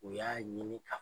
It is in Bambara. U y'a ɲini ka